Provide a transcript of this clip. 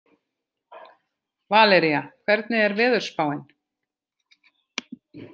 Valería, hvernig er veðurspáin?